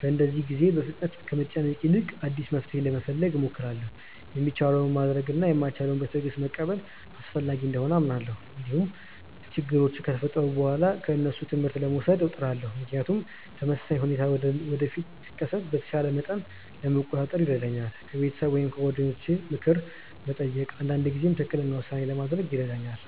በእንደዚህ ጊዜ በፍጥነት ከመጨነቅ ይልቅ አዲስ መፍትሔ ለመፈለግ እሞክራለሁ። የሚቻለውን ማድረግ እና የማይቻለውን በትዕግስት መቀበል አስፈላጊ እንደሆነ አምናለሁ። እንዲሁም ችግሮች ከተፈጠሩ በኋላ ከእነሱ ትምህርት ለመውሰድ እጥራለሁ፣ ምክንያቱም ተመሳሳይ ሁኔታ ወደፊት ሲከሰት በተሻለ መንገድ ለመቆጣጠር ይረዳኛል። ከቤተሰብ ወይም ከጓደኞች ምክር መጠየቅም አንዳንድ ጊዜ ትክክለኛ ውሳኔ ለማድረግ ይረዳኛል።